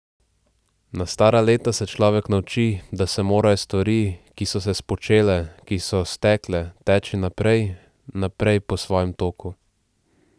Na stara leta se človek nauči, da se morajo stvari, ki so se spočele, ki so stekle, teči naprej, naprej po svojem toku.